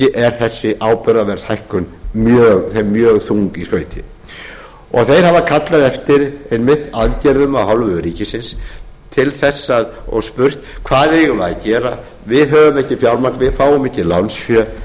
er þessi áburðarverðshækkun þeim mjög þung í skauti þeir hafa kallað eftir einmitt aðgerðum af hálfu ríkisins til þess að og spurt hvað eigum við á gera við höfum ekki fjármagn við fáum ekki lánsfé